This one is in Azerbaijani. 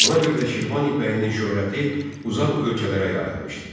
Buna görə də Şirvan ipəyinin şöhrəti uzaq ölkələrə yayılmışdı.